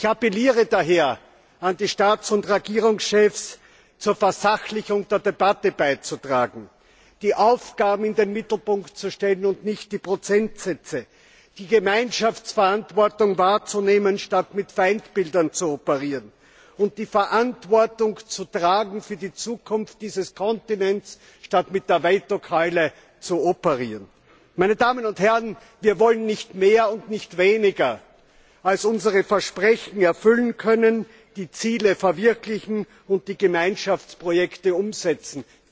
Ich appelliere daher an die Staats und Regierungschefs, zur Versachlichung der Debatte beizutragen, die Aufgaben in den Mittelpunkt zu stellen und nicht die Prozentsätze, die Gemeinschaftsverantwortung wahrzunehmen statt mit Feindbildern zu operieren und die Verantwortung für die Zukunft dieses Kontinents zu tragen, statt mit der Veto Keule zu operieren. Wir wollen nicht mehr und nicht weniger, als unsere Versprechen erfüllen können, die Ziele verwirklichen und die Gemeinschaftsprojekte umsetzen.